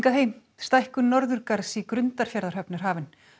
stækkun Norðurgarðs í Grundarfjarðarhöfn er hafin